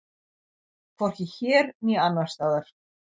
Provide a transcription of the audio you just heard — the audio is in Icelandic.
Hvorki hér né annars staðar.